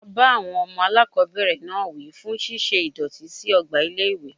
A bá àwọn ọmọ aláàkọ́bẹ̀rẹ̀ náà wí fún ṣíṣe ìdọ̀tí sí ọgbà ilé ìwé.